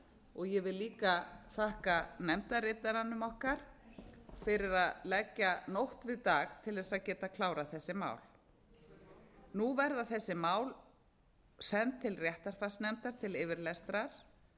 og ég vil líka þakka nefndarritaranum okkar fyrir að leggja nótt við dag til þess að geta klárað þessi mál nú verða þessi mál send til réttarfarsnefndar til yfirlestrar